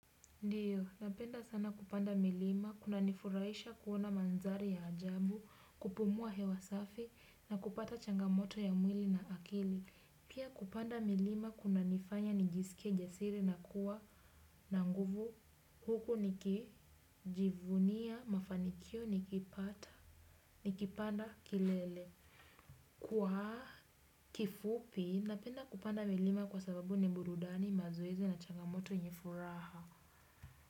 Ndiyo, napenda sana kupanda milima, kunanifuraisha kuona mandhari ya ajabu, kupumua hewa safi, na kupata changamoto ya mwili na akili. Pia kupanda milima, kunanifanya nijisike jasiri na kuwa na nguvu, huku nikijivunia, mafanikio, nikipata, nikipanda, kilele. Kwa kifupi, napenda kupanda milima kwa sababu ni burudani, mazoezi na changamoto ni furaha.